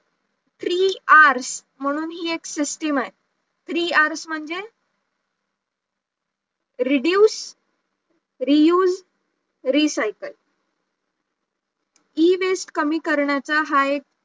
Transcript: three r म्हणून हि एक system आहे, Three r म्हणजे reduce reuse recycle Ewaste कमी करण्याचा हा एक